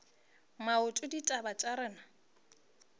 maoto ditaba tša rena di